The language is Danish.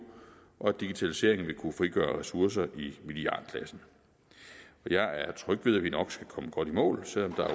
og at digitaliseringen vil kunne frigøre ressourcer i milliardklassen jeg er tryg ved at vi nok skal komme godt i mål selv om der